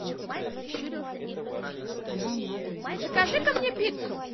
закажи ка мне пиццу